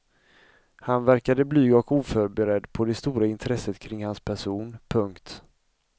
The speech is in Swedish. Han verkade blyg och oförberedd på det stora intresset kring hans person. punkt